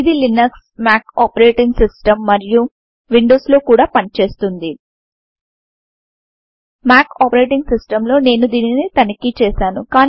ఇది Linux Mac OS X మరియు Windows లో కూడా పనిచేస్తుంది మాక్ ఒఎస్ X లో నేను దీనిని తనిఖీ చే సాను